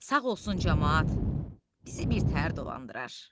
Sağ olsun camaat bizi birtəhər dolandırar.